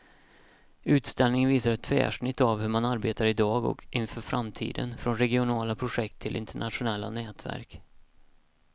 Utställningen visar ett tvärsnitt av hur man arbetar i dag och inför framtiden, från regionala projekt till internationella nätverk.